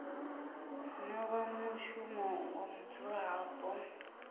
no vha mushumo wa mudzulapo